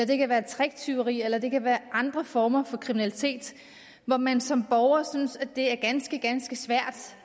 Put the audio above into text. det kan være tricktyveri eller det kan være andre former for kriminalitet hvor man som borger synes at det er ganske ganske svært